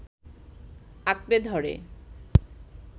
আঁকড়ে ধরে